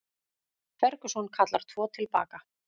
Ferguson kallar tvo til baka